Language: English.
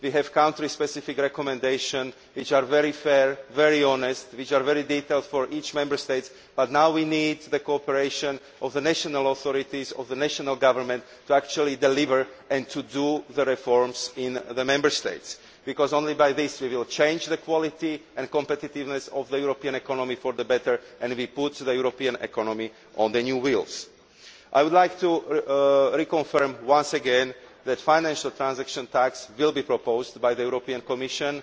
we have country specific recommendations which are very fair, very honest and very detailed for each Member State, but now we need the cooperation of the national authorities and of the national governments to actually deliver and to carry out the reforms in the Member States. Only by this will we change the quality and competitiveness of the European economy for the better and put the European economy on new wheels. I would like to confirm once again that a financial transaction tax will be proposed by the European Commission.